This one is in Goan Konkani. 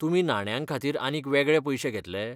तुमी नाण्यांखातीर आनीक वेगळे पैशे घेतले ?